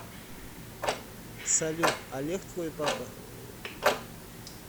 салют олег твой папа